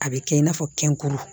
A bɛ kɛ i n'a fɔ kɛnkuru